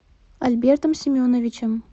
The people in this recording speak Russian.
альбертом семеновичем